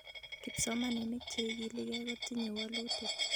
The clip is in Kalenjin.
Kipsomaninik chi igiligei kutinyei wolutik .